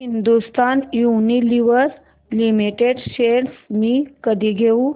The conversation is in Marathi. हिंदुस्थान युनिलिव्हर लिमिटेड शेअर्स मी कधी घेऊ